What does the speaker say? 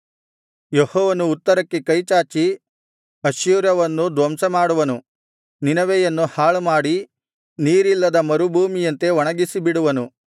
ಯೆಹೋವನು ಉತ್ತರಕ್ಕೆ ಕೈಚಾಚಿ ಅಶ್ಶೂರವನ್ನು ಧ್ವಂಸ ಮಾಡುವನು ನಿನವೆಯನ್ನು ಹಾಳುಮಾಡಿ ನೀರಿಲ್ಲದ ಮರುಭೂಮಿಯಂತೆ ಒಣಗಿಸಿಬಿಡುವನು